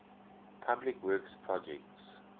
public works projects